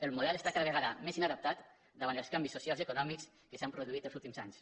el model està cada vegada més inadaptat davant els canvis socials i econòmics que s’han produït en els últims anys